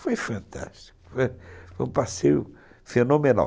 Foi fantástico, foi um passeio fenomenal.